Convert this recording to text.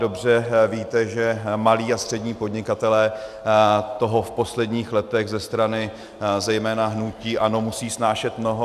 Dobře víte, že malí a střední podnikatelé toho v posledních letech ze strany zejména hnutí ANO musí snášet mnoho.